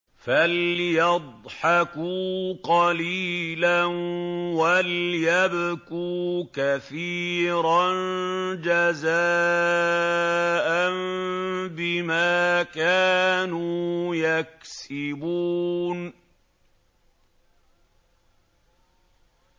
فَلْيَضْحَكُوا قَلِيلًا وَلْيَبْكُوا كَثِيرًا جَزَاءً بِمَا كَانُوا يَكْسِبُونَ